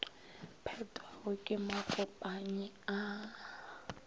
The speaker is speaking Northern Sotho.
phethwago ke makopanyi a a